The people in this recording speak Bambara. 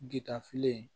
Gtafilen